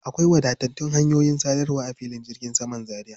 Akwai wadatattun hanyoyin sadarwa a filin jirgin saman Zaria.